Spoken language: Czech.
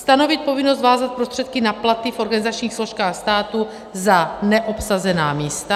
Stanovit povinnost vázat prostředky na platy v organizačních složkách státu za neobsazená místa.